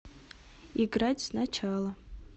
играть сначала